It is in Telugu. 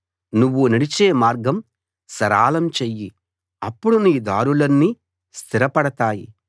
నువ్వు నడిచే మార్గం సరళం చెయ్యి అప్పుడు నీ దారులన్నీ స్థిరపడతాయి